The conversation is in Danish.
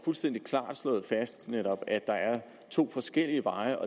fuldstændig klart får slået fast at der er to forskellige veje